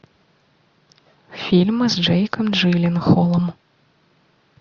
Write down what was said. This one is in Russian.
фильмы с джейком джилленхолом